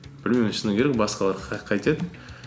білмеймін мен шыны керек басқалар қайтеді